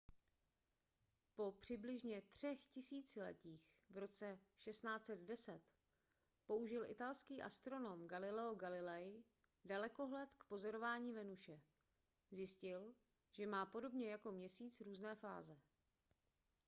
po přibližně třech tisíciletích v roce 1610 použil italský astronom galileo galilei dalekohled k pozorování venuše zjistil že má podobně jako měsíc různé fáze